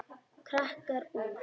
Krakkar úr